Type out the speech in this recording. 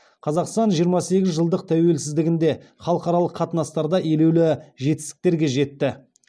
қазақстан жиырма сегіз жылдық тәуелсіздігінде халықаралық қатынастарда елеулі жетістіктерге жетті